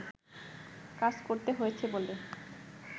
কাজ করতে হয়েছে বলে